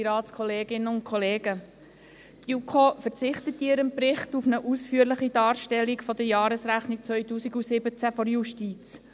Die JuKo verzichtet in ihrem Bericht auf eine ausführliche Darstellung der Jahresrechnung 2017 der Justiz.